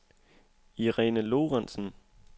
Irene Lorentsen